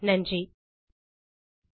குரல் கொடுத்தது ஐட் பாம்பே லிருந்து பிரியா